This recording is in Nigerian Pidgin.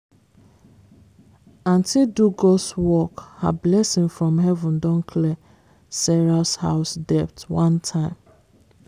aunty do god's work her blessing from heaven don clear sarah's house debt one time.